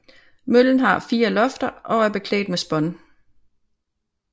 Møllen har fire lofter og er beklædt med spån